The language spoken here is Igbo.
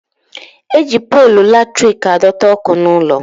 Eji polu latrik adọta ọkụ n'ụlọ